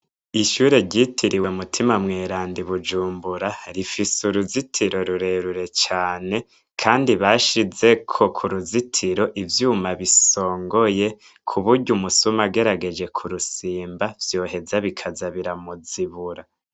Kwishure ryitiriwe mutima mweranda ibujumbura rifise uruzitiro rurerure cane kandi bashizeko kuruzitiro ivyuma bisongoye kuburyo umusuma agerageje kurusimba vyoheza bikaza biramuzibura